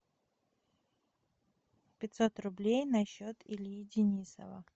пятьсот рублей на счет ильи денисова